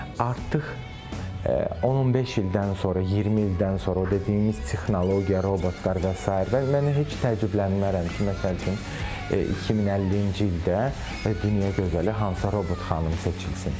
Artıq 10-15 ildən sonra, 20 ildən sonra o dediyimiz texnologiya, robotlar və sair mən heç təəccüblənmərəm ki, məsəl üçün 2050-ci ildə dünya gözəli hansısa robot xanım seçilsin.